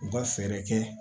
U ka fɛɛrɛ kɛ